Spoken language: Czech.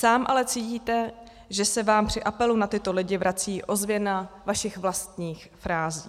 Sám ale cítíte, že se vám při apelu na tyto lidi vrací ozvěna vašich vlastních frází.